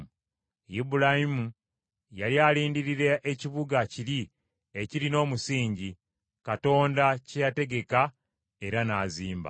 Ibulayimu yali alindirira ekibuga kiri ekirina omusingi, Katonda kye yategeka era n’azimba.